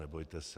Nebojte se.